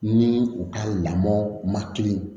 Ni u ka lamɔ matili